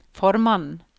formannen